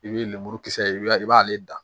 I bɛ lemuru kisɛ ye i b'a i b'ale dan